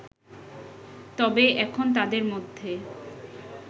তবে এখন তাদের মধ্যে